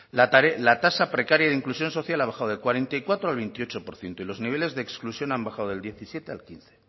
la tarea la tasa precaria de inclusión social ha bajado del cuarenta y cuatro al veintiocho por ciento y los niveles de exclusión han bajado del diecisiete al quince